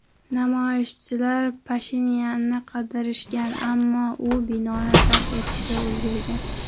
Namoyishchilar Pashinyanni qidirishgan, ammo u binoni tark etishga ulgurgan.